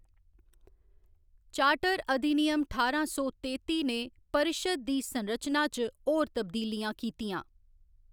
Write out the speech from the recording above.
Charter अधिनियम ठारां सौ तेत्ती ने परिशद दी संरचना च होर तब्दीलियां कीतियां।